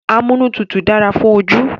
Amúnútutù dára fún ojú